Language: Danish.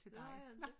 Det har jeg ikke